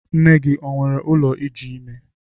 Nne gi o were ụlọ iji ime?